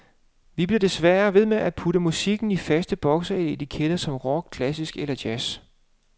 Vi bliver desværre ved med at putte musikken i faste bokse med etiketter som rock, klassisk eller jazz.